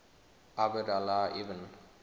abd allah ibn